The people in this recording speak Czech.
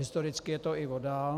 Historicky je to i voda.